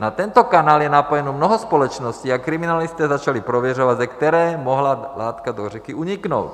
Na tento kanál je napojeno mnoho společností a kriminalisté začali prověřovat, ze které mohla látka do řeky uniknout.